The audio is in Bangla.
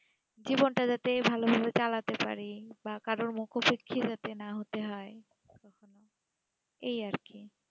জীবন তা যেতে ভালো ভাবে চালাতে পারি বা কারো মুখ্য তে খিদাটা না হয়ে কখনো এই আর কি